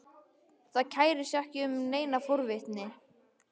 Það kærir sig ekki um neina forvitni.